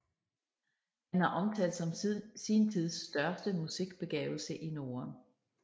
Han er omtalt som sin tids største musikbegavelse i Norden